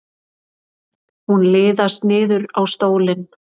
Hún liðast niður á stólinn.